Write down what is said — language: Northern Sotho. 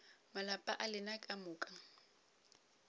malapa a lena ka moka